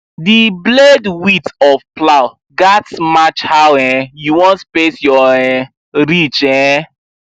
the blade width of plow gatz match how um you wan space your um ridge um